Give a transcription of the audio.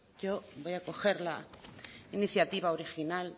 yo voy a recoger la iniciativa original